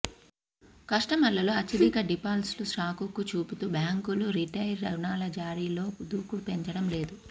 కస్టమర్లలో అత్యధిక డిఫాల్ట్స్ను సాకుగా చూపుతూ బ్యాంకులు రిటైల్ రుణాల జారీలో దూకుడు పెంచడం లేదు